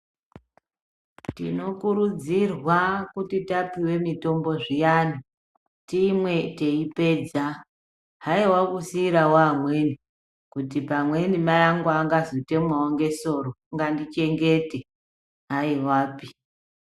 Tinokudzirwa kuti kana tamwe mitombo zviyani timwe teipedza haiwa kusirawo amweni kuti pamweni mayi angu angazotemwawo ngesoro ngandichengete haiwapi.